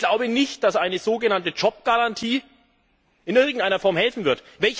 Ich glaube nicht, dass eine so genannte Jobgarantie in irgendeiner Form helfen wird.